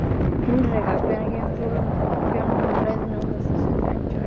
Hinrika, hvenær kemur leið númer fimmtíu og eitt?